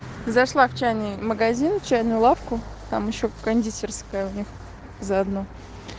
зашла в чайный магазин чайную лавку там ещё кондитерская у них заодно